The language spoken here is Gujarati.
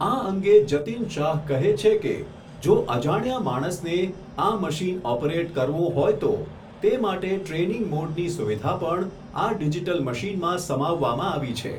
આ અંગે જતીન શાહ કહે છે કે, જો અજાણ્યા માણસને, આ મશીન ઓપરેટ કરવું હોય તો, તે માટે ટ્રેનીંગ મોડની સુવિધા પણ આ ડિઝિટલ મશીનમાં સમાવવામાં આવી છે.